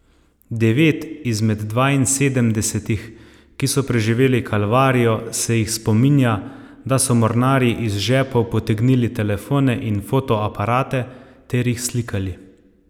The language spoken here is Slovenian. Devet izmed dvainsedemdesetih, ki so preživeli kalvarijo, se jih spominja, da so mornarji iz žepov potegnili telefone in fotoaparate ter jih slikali.